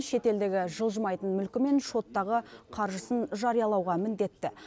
шетелдегі жылжымайтын мүлкі мен шоттағы қаржысын жариялауға міндетті